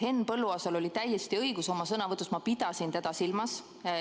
Henn Põlluaasal oli täiesti õigus, oma sõnavõtus ma pidasin teda silmas.